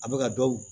A bɛ ka dɔw